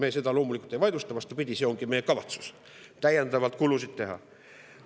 Me seda loomulikult ei vaidlusta, vastupidi, meie kavatsus ongi täiendavalt kulusid teha.